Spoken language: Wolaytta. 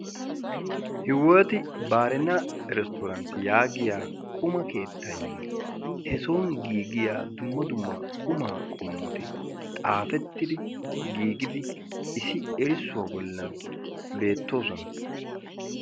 hewet baarina iristtorantti yaagiya quma keettaynne he soon giigiya dumma dumma quma qommoti xaafetidi giigidi issi erissuwa bollan beettoosona.